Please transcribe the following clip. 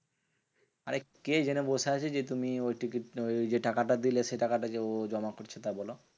আরে কে জেনে বসে আছে? যে তুমি ওই টিকিট না ওই যে টাকাটা দিলে সেই টাকাটা যে ও জমা করছে তা বোলো?